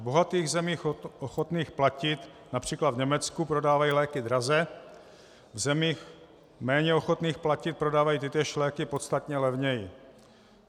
V bohatých zemích ochotných platit, například v Německu, prodávají léky draze, v zemích méně ochotných platit prodávají tytéž léky podstatně levněji.